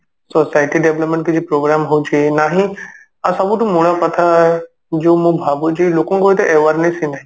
society development କିଛି program ହଉଛି ନାହିଁ ଆଉ ସବୁଠୁ ମୂଳ କଥା ଯଉ ମୁଁ ଭାବୁଛି ଲୋକଙ୍କ ଗୋଟେ awareness ହିଁ ନାହିଁ